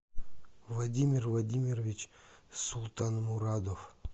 владимир владимирович султанмурадов